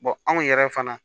anw yɛrɛ fana